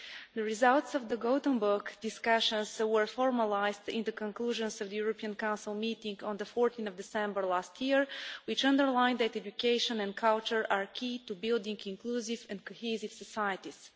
The results of the Gothenburg discussions were formalised in the conclusions of the European Council meeting on 14 December last year, which emphasised that education and culture are key to building inclusive and cohesive societies.